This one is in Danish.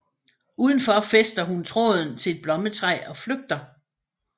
Udenfor fæster hun tråden til et blommetræ og flygter